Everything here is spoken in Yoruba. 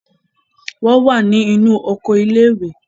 wọ́n wà ní inú oko ilé-ìwé.